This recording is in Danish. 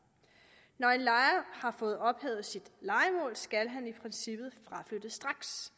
når en lejer har fået ophævet sit lejemål skal han i princippet fraflytte straks